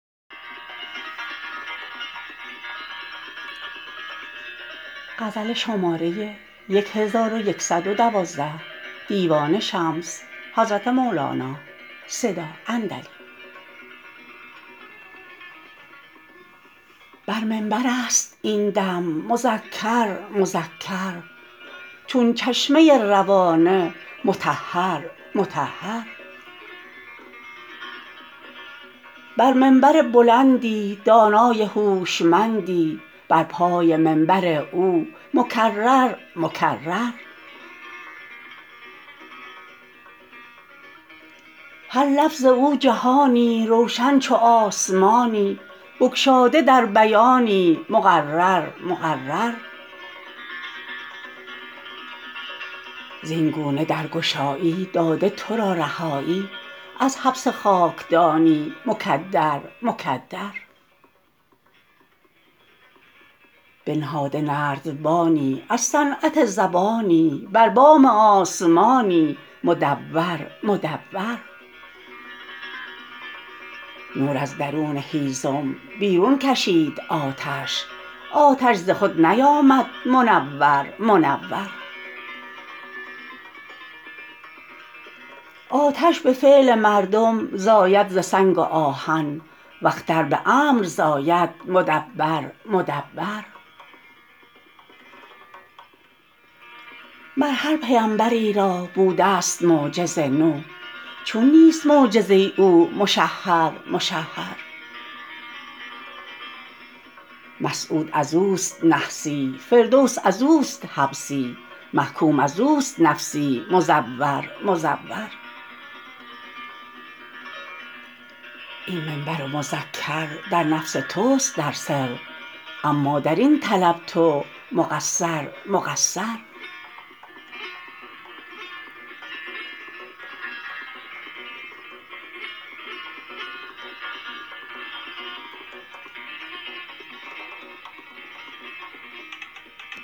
بر منبرست این دم مذکر مذکر چون چشمه روانه مطهر مطهر بر منبری بلندی دانای هوشمندی بر پای منبر او مکرر مکرر هر لفظ او جهانی روشن چو آسمانی بگشاده در بیانی مقرر مقرر زین گونه درگشایی داده تو را رهایی از حبس خاکدانی مکدر مکدر بنهاده نردبانی از صنعت زبانی بر بام آسمانی مدور مدور نور از درون هیزم بیرون کشید آتش آتش ز خود نیامد منور منور آتش به فعل مردم زاید ز سنگ و آهن و اختر به امر زاید مدبر مدبر مر هر پیمبری را بودست معجز نو چون نیست معجزه او مشهر مشهر مسعود از اوست نحسی فردوس از او است حبسی محکوم از اوست نفسی مزور مزور این منبر و مذکر در نفس توست در سر اما در این طلب تو مقصر مقصر